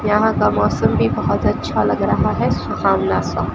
यहां का मौसम भी बहोत अच्छा लग रहा है सुहाना सुहाना--